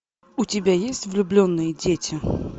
у тебя есть влюбленные дети